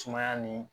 Sumaya ni